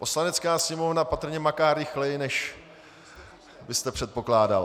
Poslanecká sněmovna patrně maká rychleji, než jste předpokládal.